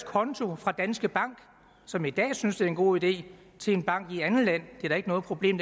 konto fra danske bank som i dag synes det er en god idé til en bank i et andet land er da ikke noget problem